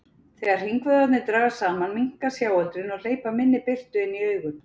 Þegar hringvöðvarnir dragast saman minnka sjáöldrin og hleypa minni birtu inn í augun.